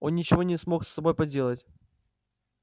он ничего не смог с собой поделать